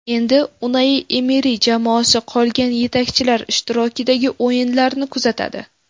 Endi Unai Emeri jamoasi qolgan yetakchilar ishtirokidagi o‘yinlarni kuzatadi.